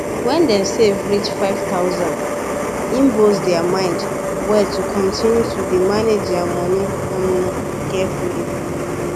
when dem save reach five thousand e boost their mind well to continue to dey manage their moni um carefully